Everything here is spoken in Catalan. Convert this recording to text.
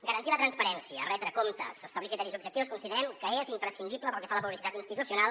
garantir la transparència retre comptes establir criteris objectius considerem que és imprescindible pel que fa a la publicitat institucional